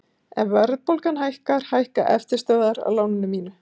ef verðbólga hækkar hækka eftirstöðvar á láninu mínu